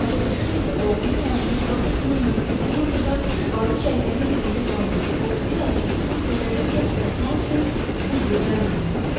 Başa düşürdü ki, oğlunun həyatını xilas etmək mümkün olmasa da, Barıç əlləyin dibində qalmış o bir azca su qədərincə uzatmaq üçün bu yeganə imkandır.